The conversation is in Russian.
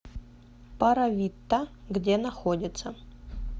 паравитта где находится